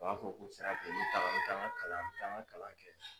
U b'a fɔ ko sira mi taga mi taa n ka kalan mi taa n ka kalan kɛ.